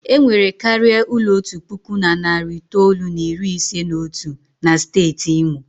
E nwere karịa ụlọ otu puku na narị itoolu na iri ise na otu na steeti Imo.